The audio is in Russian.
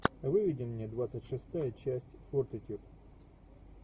выведи мне двадцать шестая часть фортитьюд